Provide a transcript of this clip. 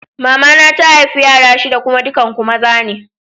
Mama na ta haifa yara shida kuma dukan ku maza ne.